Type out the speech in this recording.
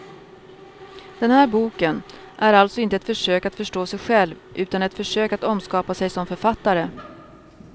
Den här boken är alltså inte ett försök att förstå sig själv utan ett försök att omskapa sig som författare.